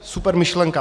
Super myšlenka.